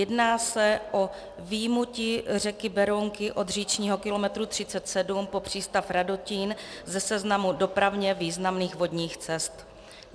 Jedná se o vyjmutí řeky Berounky od říčního kilometru 37 po přístav Radotín ze seznamu dopravně významných vodních cest.